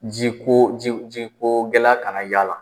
Ji ko ji ko gɛlɛya ka na y'a la.